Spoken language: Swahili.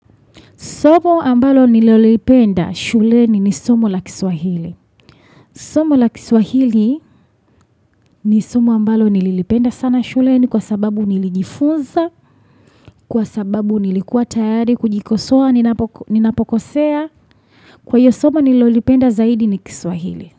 Somo ambalo nililolipenda shuleni ni somo la kiswahili. Somo la kiswahili ni somo ambalo nililipenda sana shuleni kwa sababu nilijifunza, kwa sababu nilikuwa tayari, kujikosoa, ninapokosea. Kwaiyo somo nililipenda zaidi ni kiswahili.